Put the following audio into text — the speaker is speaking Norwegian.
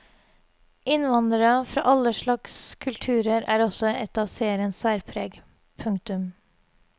Innvandrere fra alle slags kulturer er også et av seriens særpreg. punktum